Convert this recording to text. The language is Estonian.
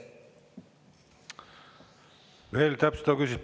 Veel täpsustav küsimus.